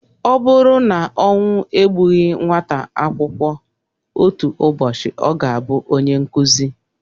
Ọ buru na ọnwụ egbughị nwata akwụkwọ, otu ụbọchị ọ ga-abụ onye nkụzi.